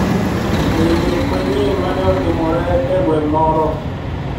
E i nek manyien ma ne otimore e gweng` moro